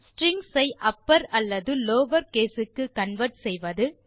strings ஐ upper அல்லது lower case க்கு கன்வெர்ட் செய்வது